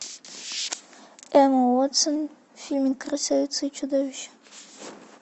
эмма уотсон в фильме красавица и чудовище